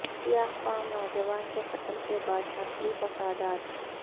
سیاہ فام نوجوان کے قتل کے بعد نسلی فسادات